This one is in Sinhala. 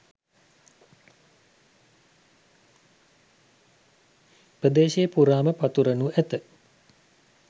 ප්‍රදේශය පුරාම පතුරනු ඇත.